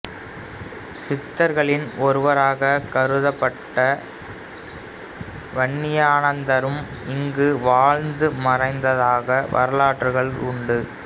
சித்தர்களில் ஒருவராக கருதப்பட்ட வன்னியானந்தரும் இங்கு வாழ்ந்து மறைந்ததாக வரலாறுகள் உண்டு